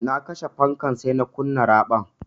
Na kashe fankar sai na kunna raɓar.